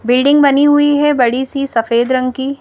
building बनी हुई हैबड़ी सी सफेद रंग की--